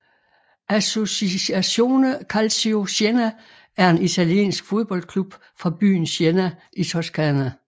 Associazione Calcio Siena er en italiensk fodboldklub fra byen Siena i Toscana